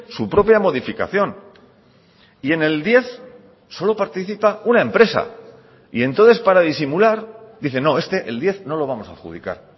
su propia modificación y en el diez solo participa una empresa y entonces para disimular dice no este el diez no lo vamos a adjudicar